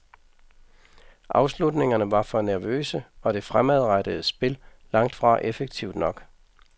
Afslutningerne var for nervøse og det fremadrettede spil langt fra effektivt nok.